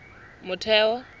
motheo